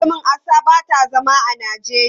Aka ce min Asa ba ta zama a Najeriya.